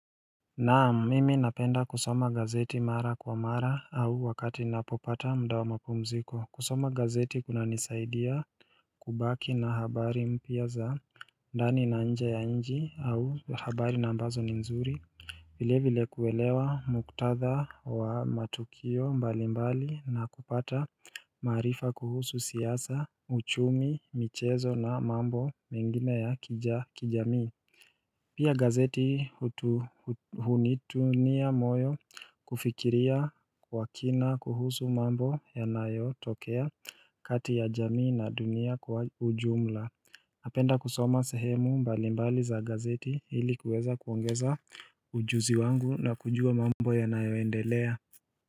Naam mimi napenda kusoma gazeti mara kwa mara au wakati napopata mda wa mapumziko kusoma gazeti kuna nisaidia kubaki na habari mpia za ndani na nje ya nchi au habari na ambazo ni nzuri vile vile kuwelewa muktadha wa matukio mbali mbali na kupata marifa kuhusu siyasa uchumi michezo na mambo mengine ya kijamii Pia gazeti hutuhunitunia moyo kufikiria kwa kina kuhusu mambo yanayotokea kati ya jamii na dunia kwa ujumla napenda kusoma sehemu mbalimbali za gazeti hili kuweza kuongeza ujuzi wangu na kujua mambo yanayoendelea.